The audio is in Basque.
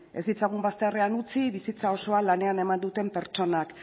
ez ditzagun bazterrean utzi bizitza osoa lanean eman duten pertsonak